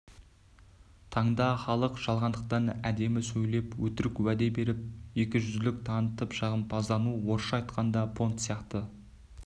таңда халық жалғандықтан әдемі сөйлеп өтірік уәде беріп екіжүзділік танытып жағымпаздану орысша айтқанда понт сияқты